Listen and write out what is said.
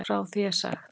Frá því er sagt.